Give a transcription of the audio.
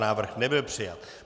Návrh nebyl přijat.